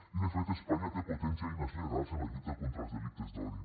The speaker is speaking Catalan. i de fet espanya té potents eines legals en la lluita contra els delictes d’odi